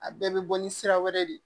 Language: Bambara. A bɛɛ bɛ bɔ ni sira wɛrɛ de ye